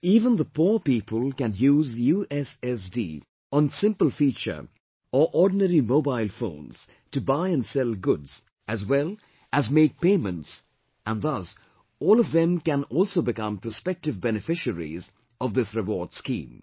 Even the poor people can use USSD on simple feature or ordinary mobile phones to buy and sell goods as well as make payments and thus all of them can also become prospective beneficiaries of this reward scheme